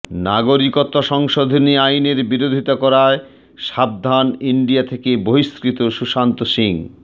নাগরিকত্ব সংশোধনী আইনের বিরোধিতা করায় সাবধান ইন্ডিয়া থেকে বহিষ্কৃত সুশান্ত সিং